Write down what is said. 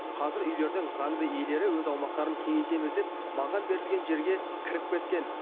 қазір үйлердің заңды иелері өз аумақтарын кеңейтеміз деп маған берілген жерге кіріп кеткен